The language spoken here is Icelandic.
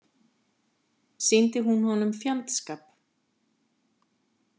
Sýndi hún honum fjandskap?